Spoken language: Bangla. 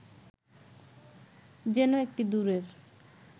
যেন এটি দূরের